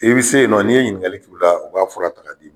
I be se yen nɔ, n'i ye ɲiniŋali k'u la u b'a fura ta k'a d'i ma.